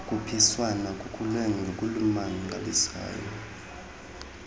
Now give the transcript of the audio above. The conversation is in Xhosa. khuphiswan kukhule ngokumangalisayo